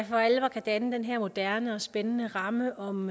for alvor kan danne den her moderne og spændende ramme om